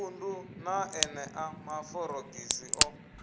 khundu na enea maforogisi o